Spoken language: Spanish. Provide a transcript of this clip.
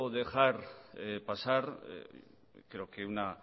dejar pasar creo que una